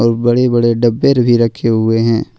और बड़े बड़े डब्बे भी रखे हुए हैं।